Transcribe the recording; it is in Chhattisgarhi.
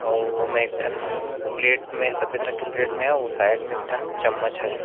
अउ ओ में ठन प्लेट में सफ़ेद रंग के प्लेट में हे अउ साइड में ठन चम्मच हरे।